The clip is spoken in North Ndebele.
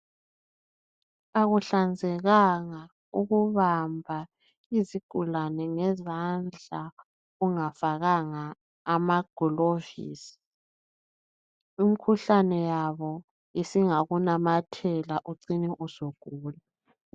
Akuhlanzekanga ukubamba iZigulane ngezandla ungafakanga amagilovisi. Imkhuhlane yabo singakunamathela ucine usugula.